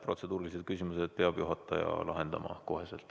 Protseduurilised küsimused peab juhataja lahendama kohe.